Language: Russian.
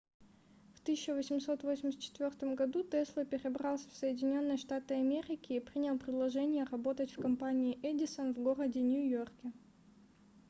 в 1884 году тесла перебрался в соединенные штаты америки и принял предложение работать в компании edison в городе нью-йорке